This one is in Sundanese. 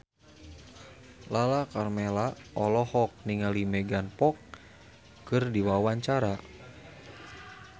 Lala Karmela olohok ningali Megan Fox keur diwawancara